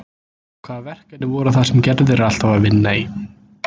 En hvaða verkefni voru það sem Gerður er alltaf að vinna í